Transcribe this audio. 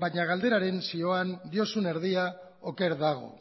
baina galderaren zioan diozun erdia oker dago